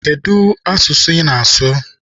Kedụ asụsụ I na-asụ?